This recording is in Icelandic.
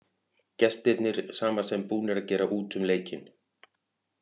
Gestirnir sama sem búnar að gera út um leikinn.